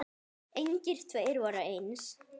Engir tveir voru eins.